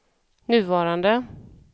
nuvarande